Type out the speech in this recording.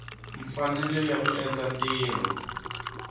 mfanelo ya ku endla ntirho